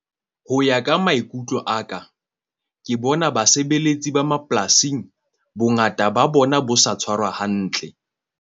Ho ya ka maikutlo, a ka ke bona basebeletsi ba mapolasing. Bongata ba bona bo sa tshwarwa hantle.